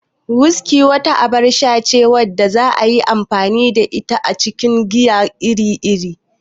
Whiskey wata abar sha ce wadda za'a iya amfani da ita a cikin giya iri-iri.